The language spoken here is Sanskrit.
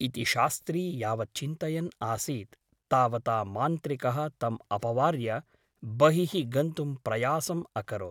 इति शास्त्री यावत् चिन्तयन् आसीत् तावता मान्त्रिकः तम् अपवार्य बहिः गन्तुं प्रयासम् अकरोत् ।